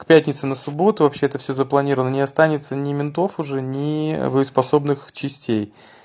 к пятницы на субботу вообще это всё запланировано не останется ни ментов уже ни боеспособных частей